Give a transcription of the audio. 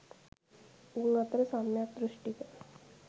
උන් අතර සම්‍යක් දෘෂ්ඨික